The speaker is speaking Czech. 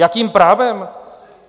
Jakým právem?